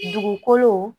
Dugukolo